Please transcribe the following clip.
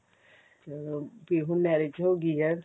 ਆਹ ਤੇ ਹੁਣ marriage ਹੋਗੀ ਆ